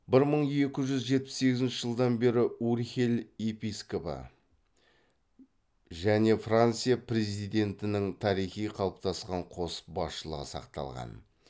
бір мың екі жүз жетпіс сегізінші жылдан бері урхель епископы және франция президентінің тарихи қалыптасқан қос басшылығы сақталған